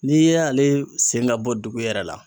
N'i ye ale sen ka bɔ dugu yɛrɛ la.